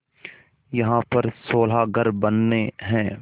यहाँ पर सोलह घर बनने हैं